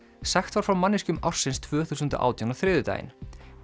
sagt var frá manneskjum ársins tvö þúsund og átján á þriðjudaginn